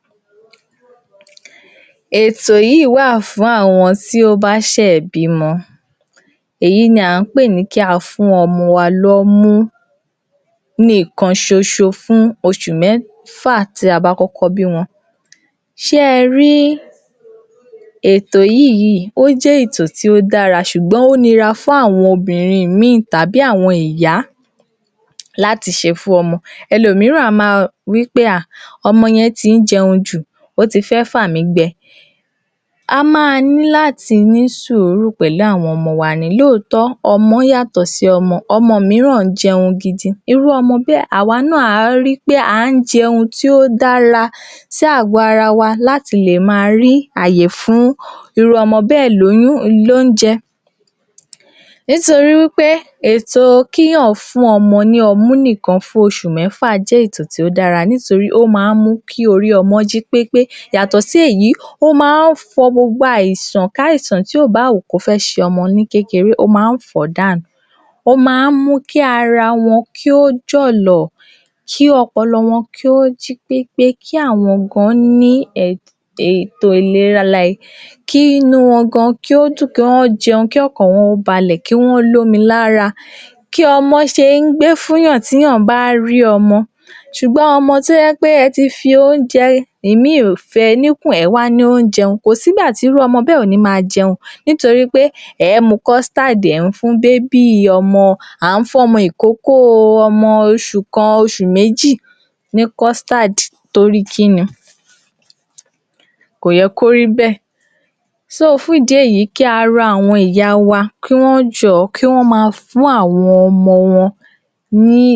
Ètò yìí wa fun awon ti o ba se bimo jé̩ èto kí èèyàn rí omi tí ó mó̩ mu àti lílo eto tí ó dára ni kí eniyan rí omi tó mó̩ mu àti láti le fi dána tàbí láti lè fi s̩e ohunkóhun tí a bá fé̩ s̩e nítorí pé ó wà lára ètò ìlera ti ó ye̩ kí àwa o̩mo̩ ènìyàn kí a máa ri pé a mójútó àbí a s̩e àmójútó fún dáadáa nígbà mìíràn wà tí ó jé̩ pé agbègbè mìíràn wo̩n ò ń rí omi tí ó mó̩ mu èyí sì jé̩ nǹkan ìbànújé̩ gidi nítorí pé tí ó bá yá àwo̩n ara ibùgbé ibè̩ wó̩n ma máa ní àwo̩n àìsàn orís̩irís̩i àìrí omi tí ó mó̩ mu tàbí fi dáná, tàbí fi s̩e àwo̩n is̩é̩ tí ó ye̩ kí á fi s̩e, ó máa ń fa orís̩irís̩i àìsàn sí àgó̩ ara ni bíi kí owó onítò̩hún tàbí e̩sè̩e̩ rẹ̀ kí kòkòrò wo̩ àwo̩n èèkánná náà tàbí irú e̩ni tó bá mu omi ìdò̩tí kí ó máa ní orís̩irís̩i àìsàn bíi àìsàn ibà tàbí eléyìí tí wó̩n tún máa ń pè ní àìsan tí ó jé̩ pé tí èèyàn bá ń bì á tún máa yàgbé̩ ori o àìsàn onígbáméjì. Orís̩irís̩i nǹkan ni àìrí omi tí ó mó̩ mu àbí àìrí omi tí ó mó̩ lò lè fà á sí àgó ara wa, èyí ló fi ye̩ káa mu ló̩kùnkúndùn wí pé gbogbo nǹkan tí a bá ń lò ní àyìíká tí ó papò̩ mo̩ omi ló gbudò̩ mó̩, nítorí pé ìlera ni ò̩rò̩. A à sì gbudò̩ fidò̩tì s̩ayò̩. Rí i pé gbogbo àyíká wa, gbogbo nǹkan tí à ń lò níbè̩ ló ń mo̩ tónítóní. A gbudò̩ nu ilè̩ wa kí ó mó̩ tónítóní. A gbo̩dò̩ ri pé omi tà ń mù, omi tá a fí ń dáná oúnje̩, omi tá ń ki o̩wọ́ sí láti fo̩s̩o̩, gbogbo rè̩ ló mó̩ tónítóní. Omi tá a fí ń fo̩s̩o̩ gan, gbogbo rè̩ ló mó̩ tónítóní. A gbo̩do̩ ri pé, à ń rí omi mímó̩ lò. Èyí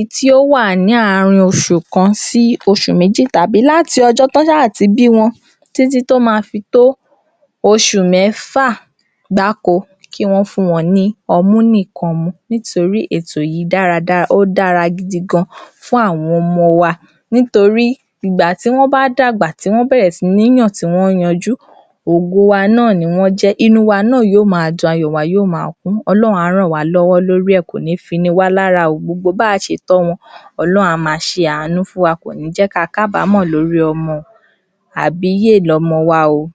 tí ó bá je̩ agbègbè yìí tí wó̩n ń kojú ìpènijà yìí kí wó̩n ké sí àwo̩n, àwo̩n oní… ìmò̩ ìlera àbí àwo̩n ìjo̩ba wo̩n, láti lè ran ló̩wó̩ lórí ò̩rò̩ omi